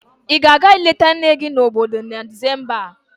Ị ga-aga ileta nne nne gị nọ n'obodo na Disemba a?